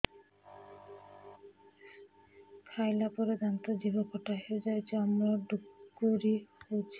ଖାଇଲା ପରେ ଦାନ୍ତ ଜିଭ ଖଟା ହେଇଯାଉଛି ଅମ୍ଳ ଡ଼ୁକରି ହଉଛି